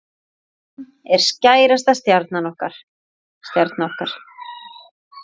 Hann er stærsta stjarna okkar.